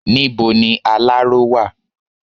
Níbo ni aláró wà?